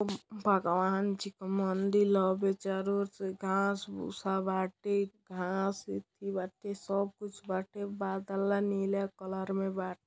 म्-भागवान जी क मंदिल ह। अभी चारो और से घाँस भूसा बाटे घास इथी बाटे सब कुछ बाटे बादला नीला कलर में बा --